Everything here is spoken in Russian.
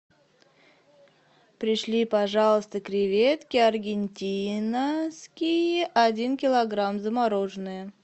пришли пожалуйста креветки аргентинские один килограмм замороженные